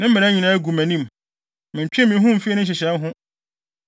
Ne mmara nyinaa gu mʼanim; mentwee me ho mfii ne nhyehyɛe ho.